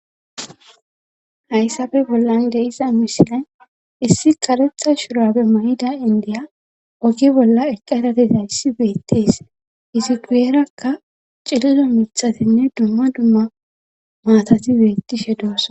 hayssafe bollan de'iza mishilay issi qarexa shurabe mayida indiya oge bolla eqqaedateta yssi beettees iziquyerakka cilido mithatinne dumma dumma maatati beettishe doossona